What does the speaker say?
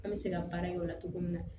An bɛ se ka baara kɛ ola cogo min na